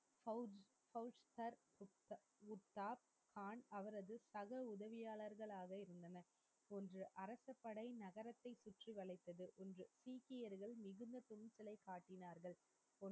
பவு பவுச்கர் உத்தார் கான் அவரது சக உதவியாளர்களாலே வீழ்ந்தார் என்று அரசு படை மகரத்தை சுற்றி வலைத்தது என்று சீக்கியர்கள்